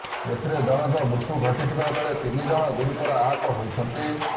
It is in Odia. ଏଥିରେ ଜଣଙ୍କ ମୃତ୍ୟୁ ଘଟିଥିବା ବେଳେ ତିନି ଜଣ ଗୁରୁତର ଆହତ ହୋଇଛନ୍ତି